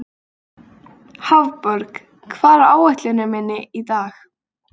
Hafborg, hvað er á áætluninni minni í dag?